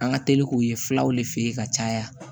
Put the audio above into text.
An ka teli k'o ye filaw de fe ye ka caya